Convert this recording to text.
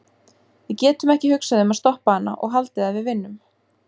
Við getum ekki hugsað um að stoppa hana og haldið að við vinnum.